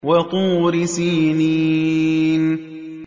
وَطُورِ سِينِينَ